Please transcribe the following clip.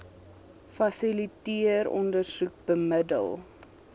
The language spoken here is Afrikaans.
fasiliteer ondersoek bemiddel